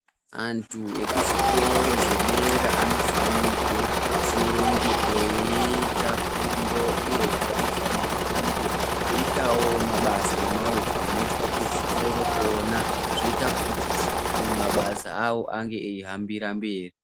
Antu ekuzvikoro zvedera anofanirwe kunge eiita fundo ,uyezve anofanirwa kunge eiitawo mabasa emaoko anoitwa kuzvikoro kona ,zvoita kuti mabasa awo ange eihambira mberi.